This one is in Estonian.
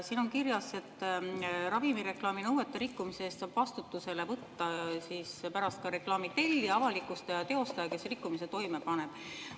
Siin on kirjas, et ravimireklaami nõuete rikkumise eest saab vastutusele võtta ka reklaami tellija, avalikustaja ja teostaja, kes rikkumise toime paneb.